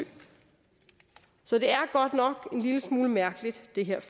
så det her godt nok en lille smule mærkeligt